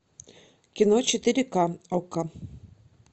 кино четыре к окко